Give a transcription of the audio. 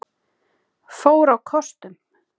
fór á kostum.